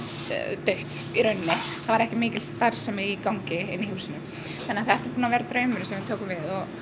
dautt í rauninni það var ekki mikil starfsemi í gangi í húsinu þannig að þetta er búið að vera draumurinn síðan við tókum við